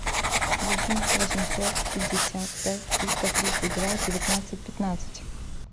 восемь восемьсот пятьдесят пять триста тридцать два девятнадцать пятнадцать